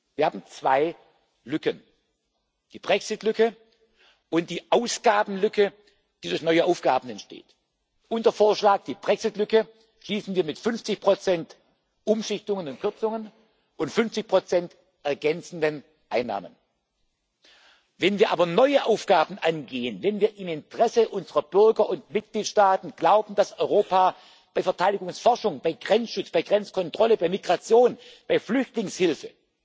dazu. Wir haben zwei Lücken, die Brexit Lücke und die Ausgabenlücke, die durch neue Aufgaben entsteht. Unser Vorschlag Die Brexit Lücke schließen wir mit 50 Umschichtungen und Kürzungen und 50 ergänzenden Einnahmen. Wenn wir aber neue Aufgaben angehen, wenn wir im Interesse unserer Bürger und Mitgliedstaaten glauben, dass Europa bei Verteidigungsforschung, beim Grenzschutz, bei der Grenzkontrolle, bei der Migration und bei der Flüchtlingshilfe